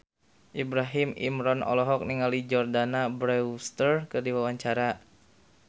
Ibrahim Imran olohok ningali Jordana Brewster keur diwawancara